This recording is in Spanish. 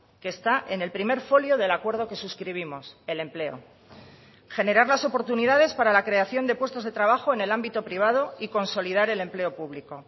que está en el primer folio del acuerdo que suscribimos el empleo generar las oportunidades para la creación de puestos de trabajo en el ámbito privado y consolidar el empleo público